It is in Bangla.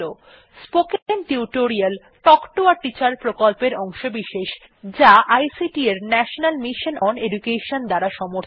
spoken tutorial talk to a teacher প্রকল্পের অংশবিশেষ যা আইসিটি এর ন্যাশনাল মিশন ওন এডুকেশন দ্বারা সমর্থিত